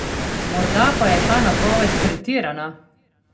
Morda pa je ta napoved pretirana!